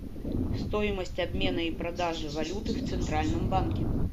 стоимость обмена и продажи валюты в центральном банке